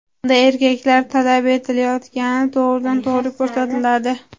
Unda erkaklar talab etilayotgani to‘g‘ridan-to‘g‘ri ko‘rsatiladi.